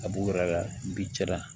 A b'u yɛrɛ la bi cɛ la